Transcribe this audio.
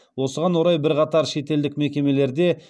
осыған орай бірқатар шетелдік мекемелерде